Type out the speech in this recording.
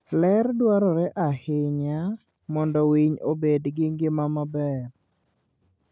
Ler dwarore ahinya mondo winy obed gi ngima maber.